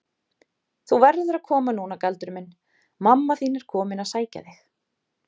Þú verður að koma núna Galdur minn, mamma þín er komin að sækja þig.